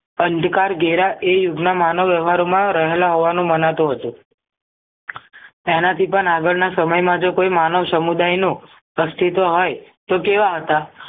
અંધ કર ધેરા એ યુગના માનવ વ્યવહારોમાં રહેલા હોવાનું મનાતું હતું એનાથી પણ આગળના સમયમાં જો કોઈ માનવ સમૂહદાયનો અસ્તિત્વ હોય તો કેવા હતા